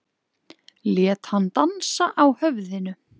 Lét hann dansa á höfðinu.